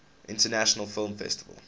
international film festival